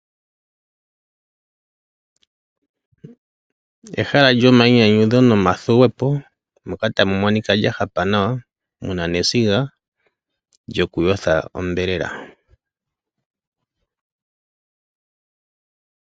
Ehala lyomayinyanyudho nomathuwepo moka tamu monika lya hapa nawa muna nesiga lyoku yotha onyama.